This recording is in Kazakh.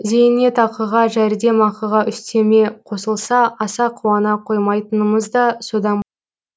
зейнетақыға жәрдемақыға үстеме қосылса аса қуана қоймайтынымыз да содан